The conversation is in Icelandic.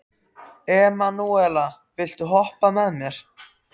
Emanúela, viltu hoppa með mér?